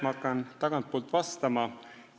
Ma hakkan tagantpoolt vastama.